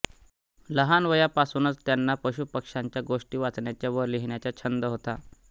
लहानवयापासूनच त्यांना पशुपक्ष्यांच्या गोष्टी वाचण्याचा व लिहिण्याचा छंद होता